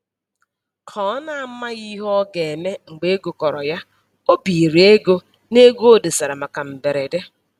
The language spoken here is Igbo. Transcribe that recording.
Ka ọ na-amaghị ihe ọ ga-eme mgbe ego kọrọ ya, o biiri ego n'ego o dosara maka mberede